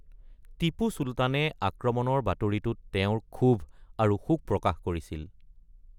টিপু চুলতানে আক্ৰমণৰ বাতৰিটোত তেওঁৰ ক্ষোভ আৰু শোক প্ৰকাশ কৰিছিল।